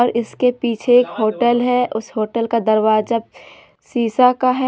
और इसके पीछे एक होटल है उस होटल का दरवाजा शीशा का है।